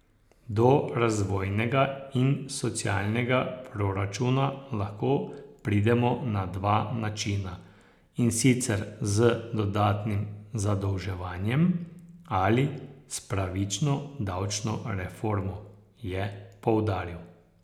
Do razvojnega in socialnega proračuna lahko pridemo na dva načina, in sicer z dodatnim zadolževanjem ali s pravično davčno reformo, je poudaril.